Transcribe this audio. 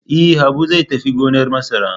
E, Habu zai tafi gonar masara.